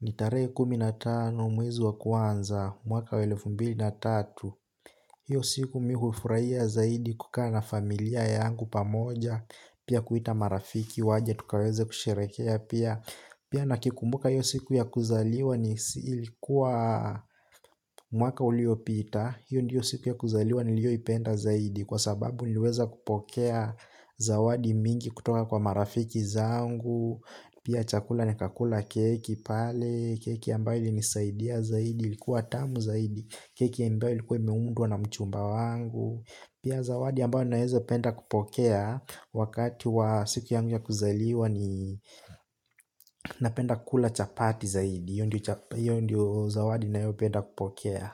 ni tarehe kumi na tano, mwezi wa kwanza, mwaka wa elefu mbili na tatu. Hiyo siku mimi hufurahia zaidi kukaa na familia yangu pamoja, pia kuita marafiki waje tukaweze kusherehekea pia. Pia nikikumbuka hio siku ya kuzaliwa ilikuwa mwaka uliopita. Hio ndio siku ya kuzaliwa niliyoipenda zaidi kwa sababu niliweza kupokea zawadi mingi kutoka kwa marafiki zangu. Pia chakula nikakula keki pale, keki ambayo ilinisaidia zaidi ilikuwa tamu zaidi. Keki ambayo ilikuwa imeundwa na mchumba wangu. Pia zawadi ambayo nawezapenda kupokea wakati wa siku yangu ya kuzaliwa ni napenda kula chapati zaidi hio ndio zawadi ninayopenda kupokea.